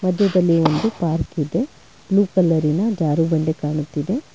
ಮದ್ಯದಲ್ಲಿ ಒಂದು ಪಾರ್ಕ್ ಇದೆ ಬ್ಲೂ ಕಲರಿನ ಜಾರುಬಂಡೆ ಕಾಣುತ್ತಿದೆ.